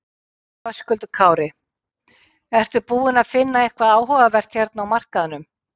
Höskuldur Kári: Ertu búinn að finna eitthvað áhugavert hérna á markaðnum?